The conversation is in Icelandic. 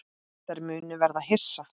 Þær munu verða hissa.